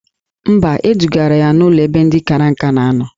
Mba, edugara ya n'ụlọ ebe ndị kara nka na anọ